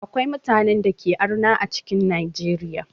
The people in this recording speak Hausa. Akwai mutanen dake arna a cikin Najeriya.